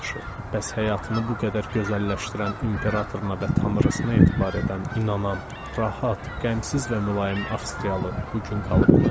Yaxşı, bəs həyatını bu qədər gözəlləşdirən imperatoruna və tanrısına etibar edən inanan, rahat, qəmsiz və mülayim Avstraliyalı bu gün qalıbmı?